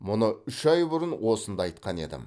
мұны үш ай бұрын осында айтқан едім